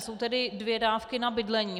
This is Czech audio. Jsou tady dvě dávky na bydlení.